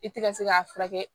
I tɛ ka se k'a furakɛ